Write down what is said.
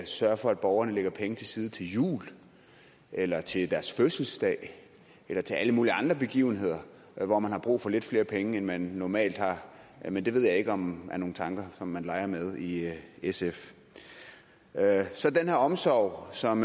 sørge for at borgerne lægger penge til side til jul eller til deres fødselsdag eller til alle mulige andre begivenheder hvor man har brug for lidt flere penge end man normalt har jeg ved ikke om det er nogle tanker som man leger med i sf så den her omsorg som